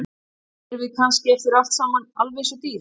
Erum við kannski eftir allt saman alveg eins og dýr?